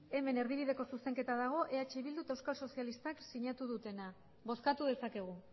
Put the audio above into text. hemen erdibideko zuzenketa dago eh bildu eta euskal sozialistak sinatu dutena bozkatu dezakegu